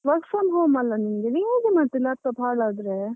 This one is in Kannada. Work from home ಅಲ್ಲ ನಿಂಗೆ, ನೀ ಹೇಗೆ ಮತ್ತೆ laptop ಹಾಳಾದ್ರೆ.